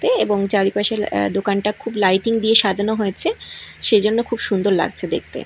এবং চারিপাশে এ দোকানটা খুব লাইটিং দিয়ে সাজানো হয়েছে সেইজন্য খুব সুন্দর লাগছে দেখতে।